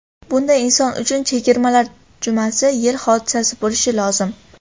Bunday inson uchun chegirmalar jumasi yil hodisasi bo‘lishi lozim.